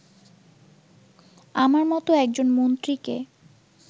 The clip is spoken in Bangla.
আমার মতো একজন মন্ত্রীকে